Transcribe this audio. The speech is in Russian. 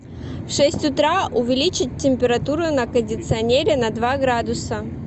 в шесть утра увеличить температуру на кондиционере на два градуса